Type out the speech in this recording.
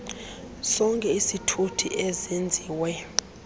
sonke isithuthi ezenziwe